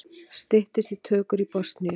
Styttist í tökur í Bosníu